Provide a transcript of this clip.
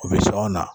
U bɛ sɔn o na